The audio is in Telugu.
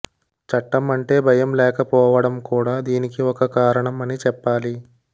చట్టం అంటే భయం లేకపోవడం కూడా దీనికి ఒక కారణం అని చెప్పాలి